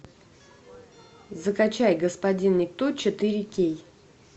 закачай господин никто четыре кей